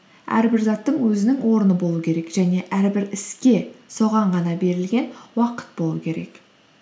әрбір заттың өзінің орны болу керек және әрбір іске соған ғана берілген уақыт болу керек